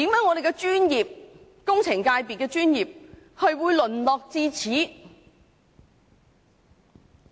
為何香港工程界的專業會淪落至此。